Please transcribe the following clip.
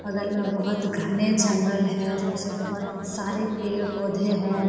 बगल में बहुत घने जंगल है उसमे से बहुत सारे पेड़ पौधे है।